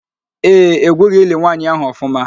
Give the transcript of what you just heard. Ee, egwughị ili nwaanyị ahụ ọfụma